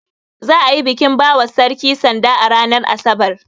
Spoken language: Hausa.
Za'a yi bikin bawa sarki sanda ranar asabar.